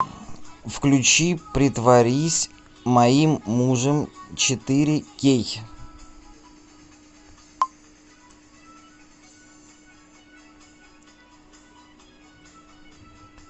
включи притворись моим мужем четыре кей